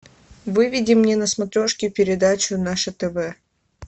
выведи мне на смотрешке передачу наше тв